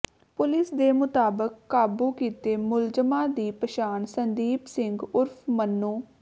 police ਦੇ ਮੁਤਾਬਕ ਕਾਬੂ ਕੀਤੇ ਮੁਲਜ਼ਮਾਂ ਦੀ ਪਛਾਣ ਸੰਦੀਪ ਸਿੰਘ ਉਰਫ ਮੰਨੂੰ